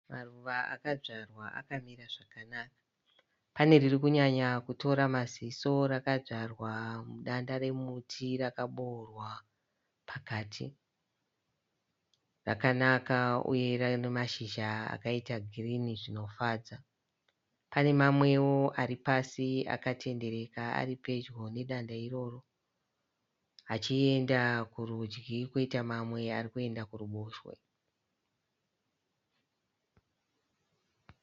Maruva akadzvarwa akamira zvakanaka. Pane riri kunyanya kutora maziso rakadzvarwa mudanda remuti rakaboorwa pakati. Rakanaka uye rine mashizha akaita girini zvinofadza pane mamwewo ari pasi akatendereka ari pedyo nedanda iroro achienda kurudyi kwoita mamwe ari kuenda kuruboshwe.